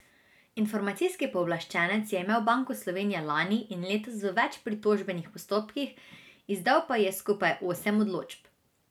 Informacijski pooblaščenec je imel Banko Slovenije lani in letos v več pritožbenih postopkih, izdal pa ji je skupaj osem odločb.